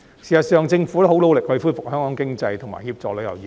事實上，政府已很努力恢復香港經濟，以及協助旅遊業。